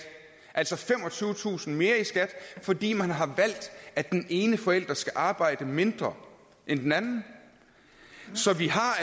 altså femogtyvetusind kroner mere i skat fordi man har valgt at den ene forælder skal arbejde mindre end den anden så vi har